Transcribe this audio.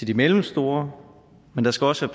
de mellemstore men der skal også